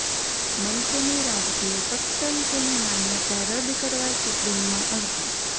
મનસેની રાજકીય પક્ષ તરીકેની માન્યતા રદ કરવા સુપ્રીમમાં અરજી